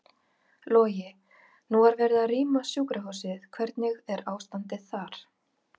Logi: Nú var verið að rýma sjúkrahúsið, hvernig er ástandið þar?